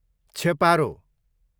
छेपारो